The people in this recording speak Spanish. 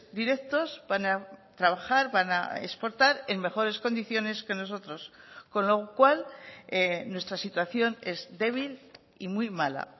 directos van a trabajar van a exportar en mejores condiciones que nosotros con lo cual nuestra situación es débil y muy mala